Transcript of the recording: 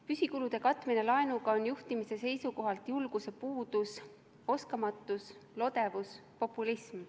Püsikulude katmine laenuga on juhtimise seisukohalt julguse puudus, oskamatus, lodevus, populism.